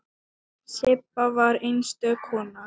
Sibba var einstök kona.